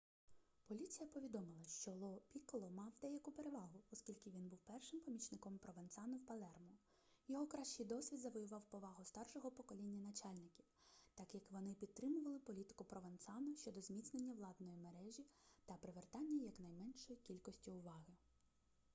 поліція повідомила що ло пікколо мав деяку перевагу оскільки він був першим помічником провенцано в палермо його кращий досвід завоював повагу старшого покоління начальників так як вони підтримували політику провенцано щодо зміцнення владної мережі та привертання якнайменшої кількості уваги